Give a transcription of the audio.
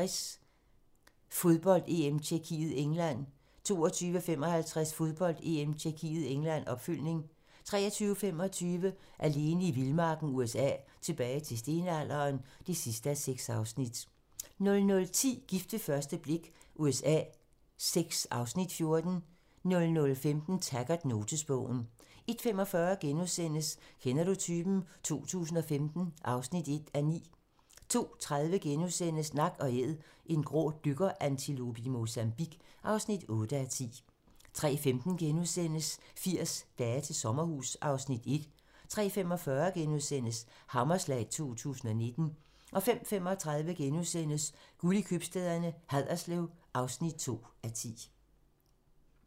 21:55: Fodbold: EM - Tjekkiet-England 22:55: Fodbold: EM - Tjekkiet-England, opfølgning 23:25: Alene i vildmarken USA: Tilbage til stenalderen (6:6) 00:10: Gift ved første blik USA VI (Afs. 14) 00:55: Taggart: Notesbogen 01:45: Kender du typen? 2015 (1:9)* 02:30: Nak & Æd - en grå dykkerantilope i Mozambique (8:10)* 03:15: 80 dage til sommerhus (Afs. 1)* 03:45: Hammerslag 2019 * 05:35: Guld i købstæderne - Haderslev (2:10)*